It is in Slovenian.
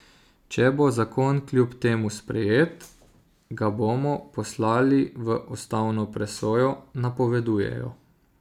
Če bo zakon kljub temu sprejet, ga bodo poslali v ustavno presojo, napovedujejo.